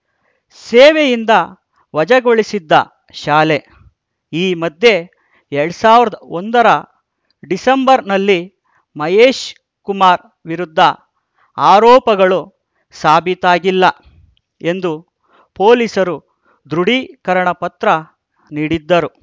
ಸೇವೆಯಿಂದ ವಜಾಗೊಳಿಸಿದ್ದ ಶಾಲೆ ಈ ಮಧ್ಯೆ ಎರಡ್ ಸಾವಿರದ ಒಂದರ ಡಿಸೆಂಬರ್‌ನಲ್ಲಿ ಮಹೇಶ್‌ ಕುಮಾರ್‌ ವಿರುದ್ಧ ಆರೋಪಗಳು ಸಾಬೀತಾಗಿಲ್ಲ ಎಂದು ಪೊಲೀಸರು ದೃಢೀಕರಣ ಪತ್ರ ನೀಡಿದ್ದರು